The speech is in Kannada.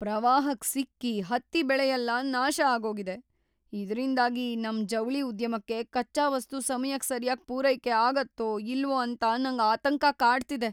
ಪ್ರವಾಹಕ್‌ ಸಿಕ್ಕಿ ಹತ್ತಿ ಬೆಳೆಯೆಲ್ಲ ನಾಶ ಆಗೋಗಿದೆ, ಇದ್ರಿಂದಾಗಿ ನಮ್ ಜವಳಿ ಉದ್ಯಮಕ್ಕೆ ಕಚ್ಚಾ ವಸ್ತು ಸಮಯಕ್ ಸರ್ಯಾಗಿ ಪೂರೈಕೆ ಆಗತ್ತೋ ಇಲ್ವೋ ಅಂತ ನಂಗ್‌ ಆತಂಕ ಕಾಡ್ತಿದೆ.